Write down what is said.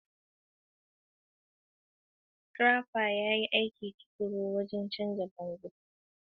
Scraper ya yi aiki tuƙuru don cire tsohon fenti, yana shirya saman don sabon gashi.